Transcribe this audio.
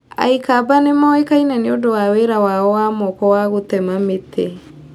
Aikamba nĩ moĩkaine nĩ ũndũ wa wĩra wao wa moko wa gũtema mĩtĩ.